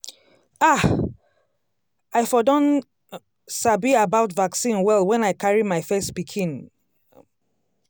ah! i for don um sabi about vaccine well when i carry my first pikin. um